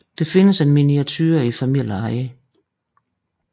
Der findes en miniature i familieeje